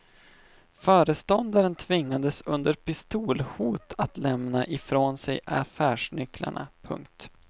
Föreståndaren tvingades under pistolhot att lämna ifrån sig affärsnycklarna. punkt